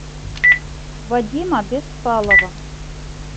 вадима беспалова